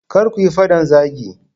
Kar kuyi fadan zagi.